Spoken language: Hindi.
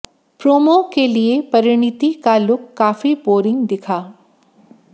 प्रोमो के लिए परीणिति का लुक काफी बोरिंग दिखा